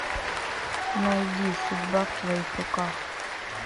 найди судьба в твоих руках